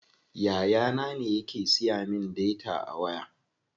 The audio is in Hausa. Yaya na ne yake siya min data a waya.